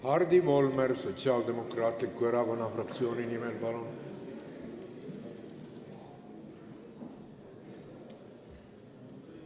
Hardi Volmer Sotsiaaldemokraatliku Erakonna fraktsiooni nimel, palun!